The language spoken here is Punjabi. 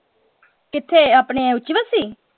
ਕਿਥੇ ਆਪਣੇ ਉਚੇ